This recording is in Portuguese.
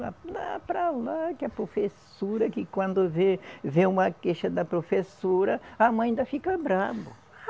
Lá para lá que a professora, que quando vê, vê uma queixa da professora, a mãe ainda fica brabo.